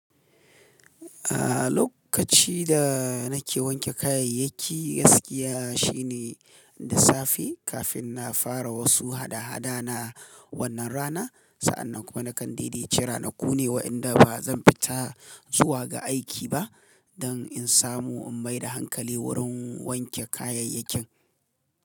Aaa lokaci da nake wanke kayayyaki gaskiya shine da safe kafin na fara wasu hada-hada na wannan rana. Sa'annan kuma nakan daidaitci ranaku ne wa inda ba zan fita zuwa ga aiki ba don in samu in maida hankali wurin wanke kayayakin.